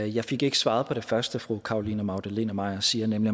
jeg fik ikke svaret på det første fru caroline magdalene maier siger nemlig